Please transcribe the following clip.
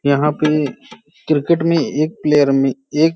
यहाँ पे क्रिकेट में एक प्लयेर में एक --